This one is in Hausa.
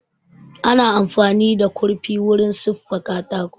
Ana amfani da kurfi wurin siffa katako